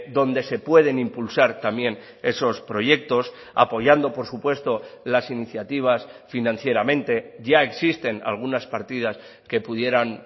donde se pueden impulsar también esos proyectos apoyando por supuesto las iniciativas financieramente ya existen algunas partidas que pudieran